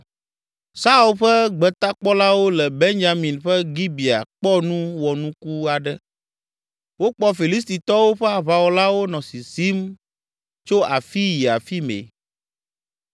Saul ƒe gbetakpɔlawo le Benyamin ƒe Gibea kpɔ nu wɔnuku aɖe: wokpɔ Filistitɔwo ƒe aʋawɔlawo nɔ sisim tso afii yi afi mɛ.